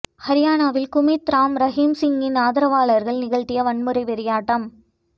ஹரியானாவில் குர்மீத் ராம் ரஹீம் சிங்கின் ஆதரவாளர்கள் நிகழ்த்திய வன்முறை வெறியாட்டம்